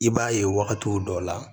I b'a ye wagati dɔw la